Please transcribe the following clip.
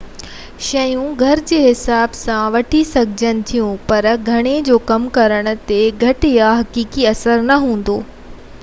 شيون گهرجي جي حساب سان وٺي سگهجن ٿيون پر گهڻين جو ڪم ڪرڻ تي گهٽ يا حقيقي اثر نہ هوندو